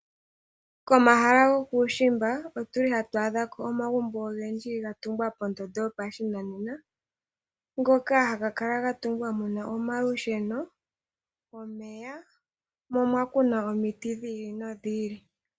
Komahala gokuushimba, otu li hatu adha ko omagumbo ogendji ga tungwa pondondo yopashinanena, ngoka haga kala ga tungwa mu na omalusheno, omeya, mo omwa kunwa omiti dhi ili nodhi ili.